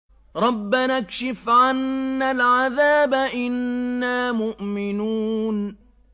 رَّبَّنَا اكْشِفْ عَنَّا الْعَذَابَ إِنَّا مُؤْمِنُونَ